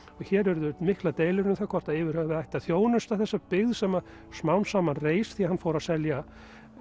hér urðu miklar deilur um það hvort að yfir höfuð ætti að þjónusta þessa byggð sem að smám saman reis því hann fór að selja